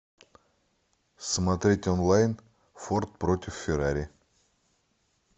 смотреть онлайн форд против феррари